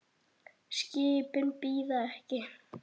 Skipin bíða ekki.